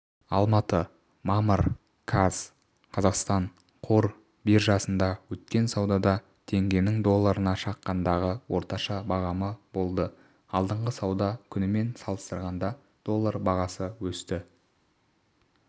алматы мамыр қаз қазақстан қор биржасында өткен саудада теңгенің долларына шаққандағы орташа бағамы болды алдыңғы сауда күнімен салыстырғанда доллар бағасы өсті